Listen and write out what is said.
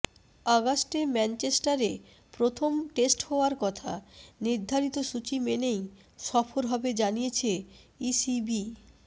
অগস্টে ম্যাঞ্চেস্টারে প্রথম টেস্ট হওয়ার কথা নির্ধারিত সূচি মেনেই সফর হবে জানিয়েছে ইসিবি